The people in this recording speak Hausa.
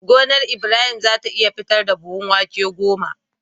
Gonar Ibrahim zata iya fitar da buhun wake goma